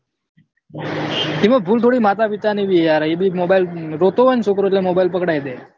એમાં ભૂલ થોડું માતા પિતાની બી યાર એભી mobile રોતો હોય ને છોકરો એટલે mobile પકડાઈ દે